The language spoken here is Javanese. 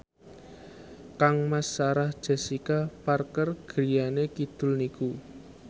kangmas Sarah Jessica Parker griyane kidul niku